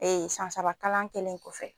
san saba kalan kɛlen kɔfɛ.